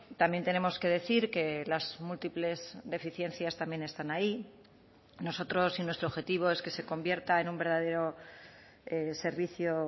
también tenemos que decir que las múltiples deficiencias también están ahí nosotros y nuestro objetivo es que se convierta en un verdadero servicio